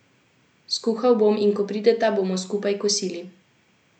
Skuhal bom, in ko prideta, bomo skupaj kosili.